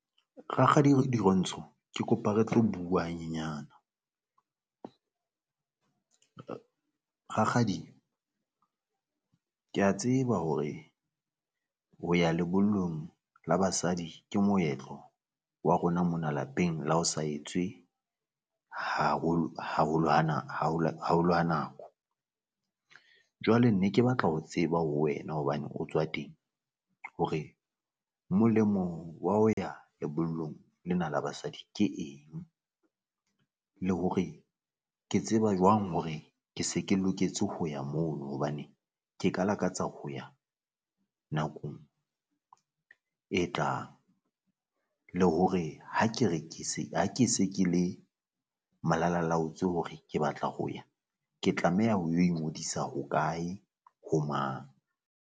Rakgadi Dirontsho ke kopa re tlo bua ha nyenyana, rakgadi kea tseba hore ho ya lebollong la basadi ke moetlo wa rona mona lapeng la ho sa etswe haholo ha nako. Jwale ne ke batla ho tseba ho wena hobane o tswa teng hore molemong wa ho ya lebollong lena la basadi ke eng? Le hore ke tseba jwang hore ke se ke loketse ho ya mono? Hobane ke ka lakatsa ho ya nakong e tlang, le hore ha ke re ke se ha ke se ke le malalalaotsoe hore ke batla ho ya ke tlameha ho o ingodisa hokae? Ho mang?